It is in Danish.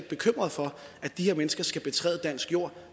bekymret for at de her mennesker skal betræde dansk jord